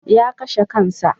Ya kashe kansa.